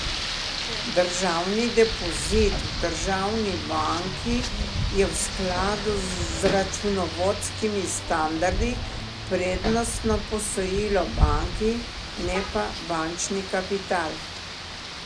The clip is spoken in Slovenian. Državni depozit v državni banki je v skladu z računovodskimi standardi prednostno posojilo banki, ne pa bančni kapital.